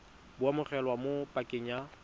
bo amogelwa mo pakeng ya